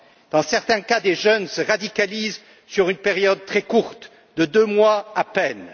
Dans certains cas, des jeunes se radicalisent sur une période très courte, de deux mois à peine.